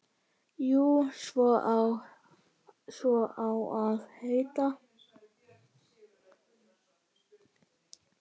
Jú, svo á að heita.